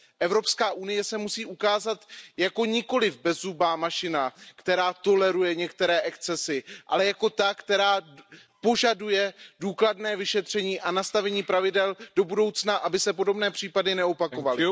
Evropská unie se musí ukázat jako nikoliv bezzubá mašina, která toleruje některé excesy, ale jako ta, která požaduje důkladné vyšetření a nastavení pravidel do budoucna, aby se podobné případy neopakovaly.